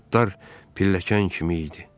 Buludlar pilləkən kimi idi.